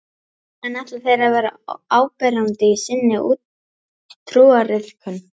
En ætla þeir að vera áberandi í sinni trúariðkun?